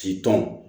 K'i tɔn